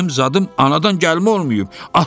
Dayım zadım anadan gəlmə olmayıb.